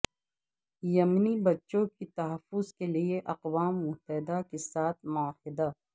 یمنی بچوں کے تحفظ کیلئے اقوام متحدہ کے ساتھ معاہدہ